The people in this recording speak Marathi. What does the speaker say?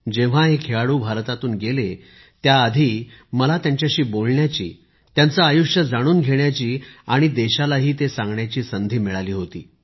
जेव्हा हे खेळाडू भारतातून गेले त्याआधी मला त्यांच्याशी बोलण्याची त्यांचे आयुष्य जाणून घेण्याची आणि देशालाही ते सांगण्याची संधी मिळाली होती